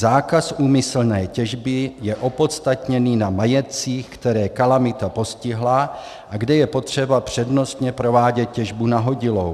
Zákaz úmyslné těžby je opodstatněný na majetcích, které kalamita postihla a kde je potřeba přednostně provádět těžbu nahodilou.